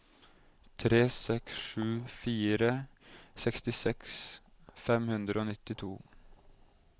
tre seks sju fire sekstiseks fem hundre og nittito